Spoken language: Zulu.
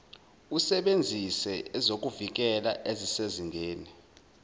usebenzise ezokuvikela ezisezingeni